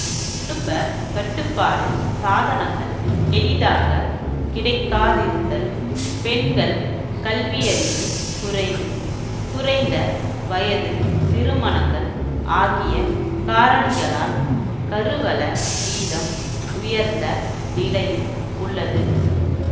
குடும்பக் கட்டுப்பாடு சாதனங்கள் எளிதாக கிடைக்காதிருத்தல் பெண்கள் கல்வியறிவு குறைவு குறைந்த வயது திருமணங்கள் ஆகிய காரணிகளால் கருவள வீதம் உயர்ந்த நிலையில் உள்ளது